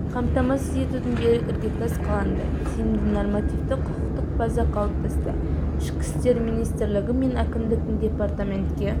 қамтамасыз етудің берік іргетас қаланды тиімді нормативті-құқықтық база қалыптасты ішкі істер минисртлігі мен әкімдіктің департаментке